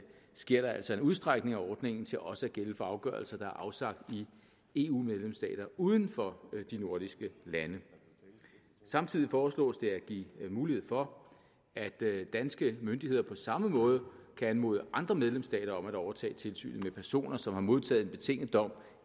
sker der altså en udstrækning af ordningen til også at gælde for afgørelser der er afsagt i eu medlemsstater uden for de nordiske lande samtidig foreslås det at give mulighed for at danske myndigheder på samme måde kan anmode andre medlemsstater om at overtage tilsynet med personer som har modtaget en betinget dom